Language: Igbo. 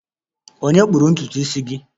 Ònye kpụrụ ntutu isi gị?